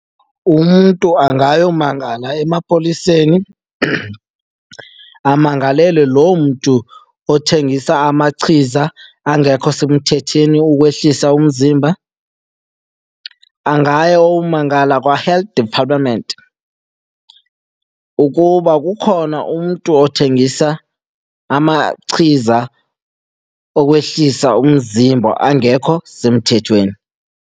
Umntu angayomangala emapoliseni amangalele loo mntu othengisa amachiza angekho semthethweni ukwehlisa umzimba. Angaya ayomangala kwaHealth Department ukuba kukhona umntu othengisa amachiza okwehlisa umzimba angekho semthethweni.